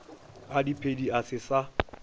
a diphedi a se sa